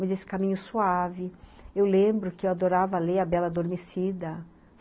Mas esse caminho suave... Eu lembro que eu adorava ler a Bela Adormecida.